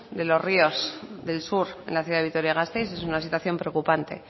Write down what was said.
de los ríos del sur en la ciudad de vitoria gasteiz es una situación preocupante